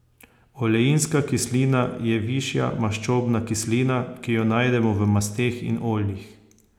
Oleinska kislina je višja maščobna kislina, ki jo najdemo v masteh in oljih.